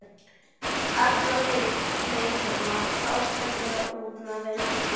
Allt leit þarna fátæklega út miðað við mannheima.